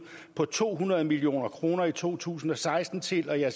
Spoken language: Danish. på to hundrede million kroner i to tusind og seksten til at